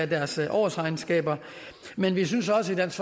deres årsregnskaber men vi synes også i dansk